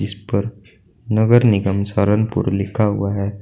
ऊपर नगर निगम सरनपूर लिखा हुआ है।